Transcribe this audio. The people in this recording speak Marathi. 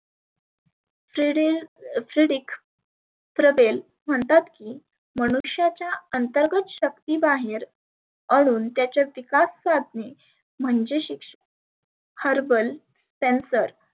Threadil fedrik प्रबेल म्हणतात की मानुष्याच्या अंतर्गत शक्ती बाहेर अणून त्याच्या विकास साधने म्हणजे शिक्षण Herble Cancer